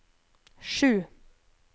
sju